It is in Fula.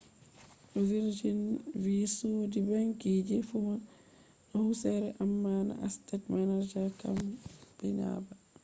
virginvi sodi ‘banki’ je funa husire amma na asset management campani ba